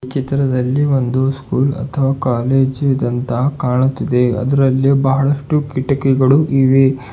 ಚಿತ್ರದಲ್ಲಿ ಒಂದು ಸ್ಕೂಲ್ ಅಥವ ಕಾಲೇಜು ಇದಂತಹ ಕಾಣುತ್ತಿದೆ ಅದ್ರಲ್ಲಿ ಬಹಳಷ್ಟು ಕಿಟಗಿಗಳು ಇವೆ.